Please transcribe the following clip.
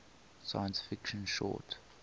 science fiction short